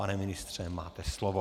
Pane ministře, máte slovo.